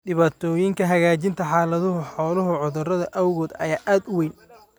Dhibaatooyinka hagaajinta xaaladda xooluhu cudurrada awgood ayaa aad u weyn.